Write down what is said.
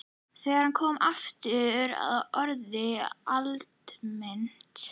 Þegar hann kom aftur var orðið aldimmt.